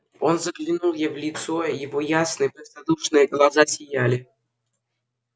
он заглянул ей в лицо его ясные простодушные глаза сияли